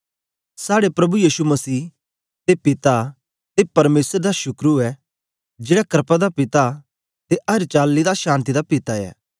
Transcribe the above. साड़े प्रभु यीशु मसीह दे पिता ते परमेसर दा शुकर ऊऐ जेड़ा क्रपा दा पिता ते अर चाली दी शान्ति दा पिता ऐ